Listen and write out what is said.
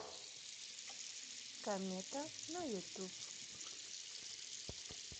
комета на ютуб